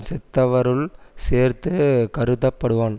செத்தவருள் சேர்த்து கருதப்படுவான்